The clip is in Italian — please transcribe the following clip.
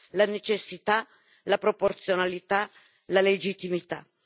la necessità, la proporzionalità, la legittimità.